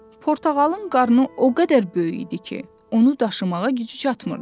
Portağalın qarnı o qədər böyük idi ki, onu daşımağa gücü çatmırdı.